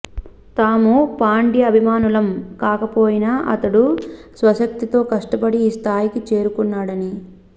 తాము పాండ్య అభిమానులం కాకపోయినా అతడు స్వశక్తితో కష్టపడి ఈ స్థాయికి చేరుకున్నాడని